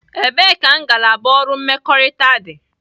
Ebee ka ngalaba ọrụ mmekọrịta dị?